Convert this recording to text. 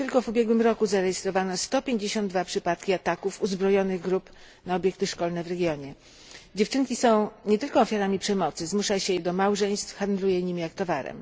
Tylko w ubiegłym roku zanotowano 152 przypadki ataków uzbrojonych grup na obiekty szkolne w rejonie. Dziewczynki są nie tylko ofiarami przemocy zmusza się je również do małżeństw, handluje nimi jak towarem.